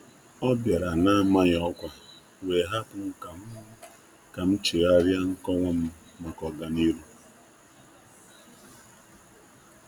Ọ bịara n'amaghị ọkwa, wee hapụ m ka m chegharịa nkọwa m maka ọga niru.